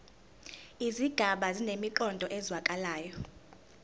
izigaba zinemiqondo ezwakalayo